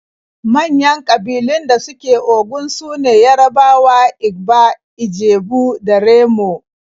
Manyan ƙabilun da suke Ogun su ne Yarabawa, Igba, Ijebu da Remo.